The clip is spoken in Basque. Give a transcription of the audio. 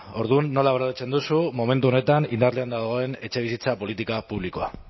orduan nola baloratzen duzu momentu honetan indarrean dagoen etxebizitza politika publikoa